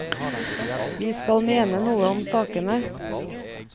Vi skal mene noe om sakene.